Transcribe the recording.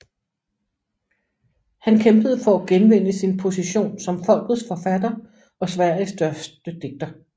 Han kæmpede for at genvinde sin position som folkets forfatter og Sveriges største digter